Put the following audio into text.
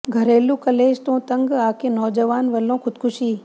ਘਰੇਲੂ ਕਲੇਸ਼ ਤੋਂ ਤੰਗ ਆ ਕੇ ਨੌਜਵਾਨ ਵੱਲੋਂ ਖੁਦਕੁਸ਼ੀ